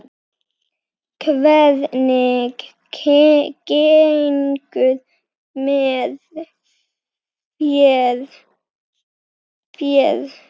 Hvernig gengur með féð?